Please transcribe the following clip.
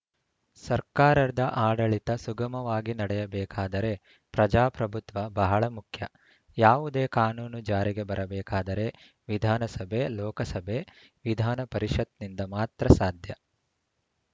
ಸರ್ಕಾರದ ಆಡಳಿತ ಸುಗಮವಾಗಿ ನಡೆಯಬೇಕಾದರೆ ಪ್ರಜಾಪ್ರಭುತ್ವ ಬಹಳ ಮುಖ್ಯ ಯಾವುದೇ ಕಾನೂನು ಜಾರಿಗೆ ಬರಬೇಕಾದರೆ ವಿಧಾನಸಭೆ ಲೋಕಸಭೆ ವಿಧಾನಪರಿಷತ್‌ನಿಂದ ಮಾತ್ರ ಸಾಧ್ಯ